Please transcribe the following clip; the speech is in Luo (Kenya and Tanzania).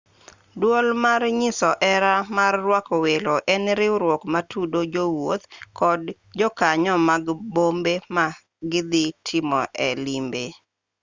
duol mar nyiso hera mar rwako welo en riwruok matudo jowuoth kod jokanyo mag bombe ma gidhi timoe limbe